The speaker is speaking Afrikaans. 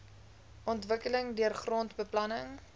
ontwikkeling deur grondbeplanning